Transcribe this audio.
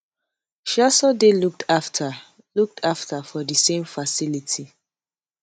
she also dey looked afta looked afta for di same facility